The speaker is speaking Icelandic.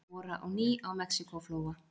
Bora á ný á Mexíkóflóa